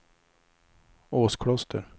Åskloster